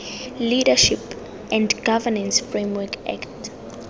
leadership and governance framework act